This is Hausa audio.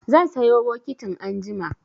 Zan sayo bokitin anjima.